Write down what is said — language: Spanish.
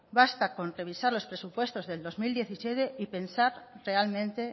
basta con revisar los presupuestos del dos mil diecisiete y pensar realmente